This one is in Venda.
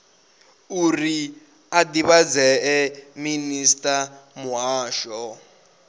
uri a divhadea minisiṱa muhasho